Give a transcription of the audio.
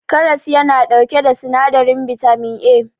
karas yana dauke da sinadirin bitamin A